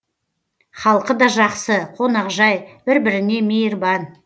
халқы да жақсы қонақжай бір біріне мейірбан